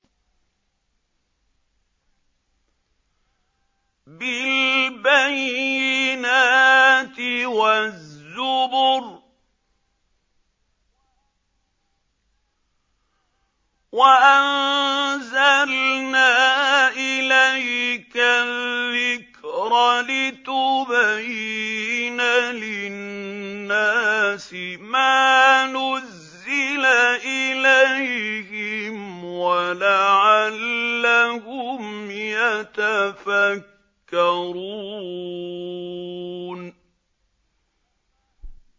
بِالْبَيِّنَاتِ وَالزُّبُرِ ۗ وَأَنزَلْنَا إِلَيْكَ الذِّكْرَ لِتُبَيِّنَ لِلنَّاسِ مَا نُزِّلَ إِلَيْهِمْ وَلَعَلَّهُمْ يَتَفَكَّرُونَ